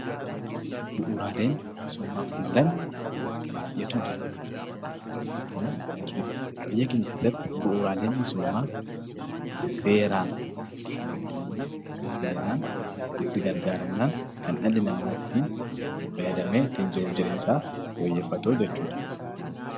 Bu'uuraaleen misoomaaf oolan baay'eetu jira. Biyya keenya keessatti bu'uuraalee misoomaatti namoonni haalan fayyadamnaan namoonni jireenya isaanii fooyyeffachuu danda'u.